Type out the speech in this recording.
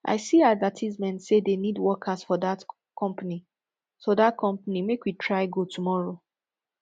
i see advertisement say dey need workers for dat company so dat company so make we try go tomorrow